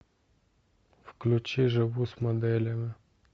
включи живу с моделями